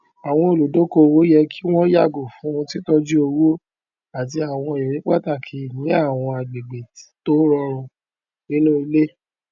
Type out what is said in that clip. olúkúlùkù sábà máa ń ṣe pàtàkì fífọwó pamọ fún ináwó um ẹkọ ọjọ iwájú àwọn ọmọ ẹgbẹ ẹbí um tí wọn gbẹkẹlé